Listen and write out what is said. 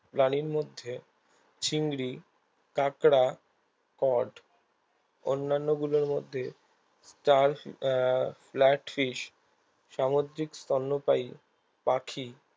প্রাণীর মধ্যে চিংড়ি কাঁকড়া কড অন্যান্য গুলোর মধ্যে আহ লাইট fish সামুদ্রিক স্তন্যপায়ী পাখি